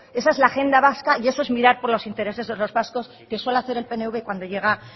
esa es la agenda vasca y eso es mirar por los intereses de los vascos que suele hacer el pnv cuando llega